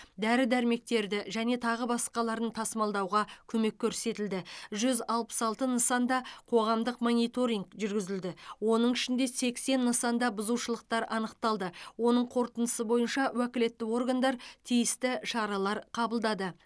дәрі дәрмектерді және тағы басқаларын тасымалдауға көмек көрсетілді жүз алпыс алты нысанда қоғамдық мониторинг жүргізілді оның ішінде сексен нысанда бұзушылықтар анықталды оның қорытындысы бойынша уәкілетті органдар тиісті шаралар қабылдады